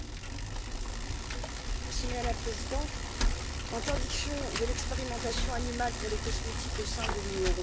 Madame la Présidente, l'interdiction de l'expérimentation animale pour les cosmétiques au sein de l'Union européenne a porté ses fruits.